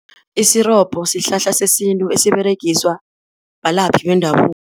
Isirobho sihlahla sesintu esiberegiswa balaphi bendabuko.